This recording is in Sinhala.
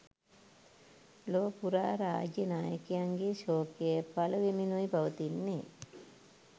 ලොව පුරා රාජ්‍ය නායකයන්ගේ ශෝකය පළ වෙමිනුයි පවතින්නේ.